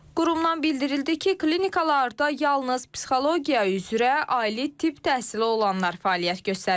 Qurumdan bildirildi ki, klinikalarda yalnız psixologiya üzrə ali tibb təhsili olanlar fəaliyyət göstərirlər.